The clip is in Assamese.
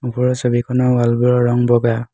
ওপৰৰ ছবিখনৰ ৱাল বোৰৰ ৰং বগা।